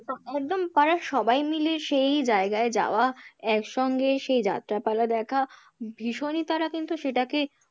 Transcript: একদম তারা সবাই মিলে সেই জায়গায় যাওয়া একসঙ্গে সেই যাত্রাপালা দেখা ভীষণই তারা কিন্তু সেটাকে,